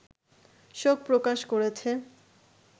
শোক প্রকাশ করেছে